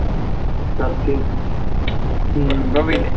സത്യം